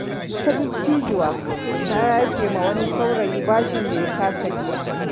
Wata dattijuwa ta yafe wa wani saurayi bashin da ya kasa biya.